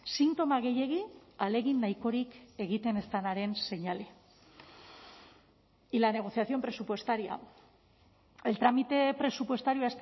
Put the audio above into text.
sintoma gehiegi ahalegin nahikorik egiten ez denaren seinale y la negociación presupuestaria el trámite presupuestario